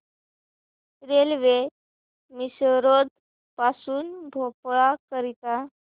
railway Misrod पासून भोपाळ करीता